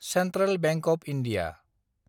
central bank of India